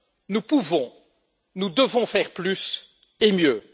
Nous pouvons, nous devons faire plus, et mieux.